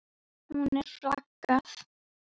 Hún er flagð.